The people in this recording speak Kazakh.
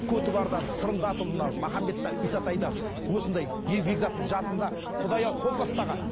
осындай бекзаттың жасында құдай ау қол бастаған